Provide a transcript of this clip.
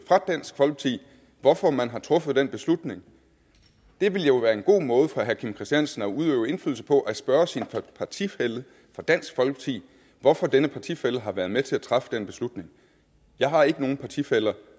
hvorfor man har truffet den beslutning det ville jo være en god måde for herre kim christiansen at udøve indflydelse på at spørge sin partifælle fra dansk folkeparti hvorfor denne partifælle har været med til at træffe den beslutning jeg har ikke nogen partifæller